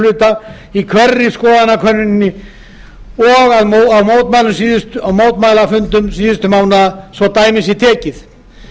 hluta í hverri skoðanakönnuninni og á mótmælafundum síðustu mánaða svo dæmi sé tekið